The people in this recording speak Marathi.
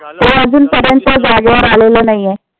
तो अजून पर्यंत जागेवर आलेल नाहीये.